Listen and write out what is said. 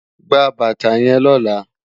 Gbá bàtá yèn lòlá